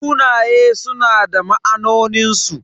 Sunaye suna da ma'anonin su.